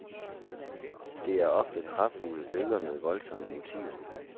Det er ofte kraftfulde billeder med voldsomme motiver.